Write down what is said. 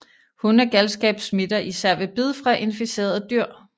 Hundegalskab smitter især ved bid fra inficerede dyr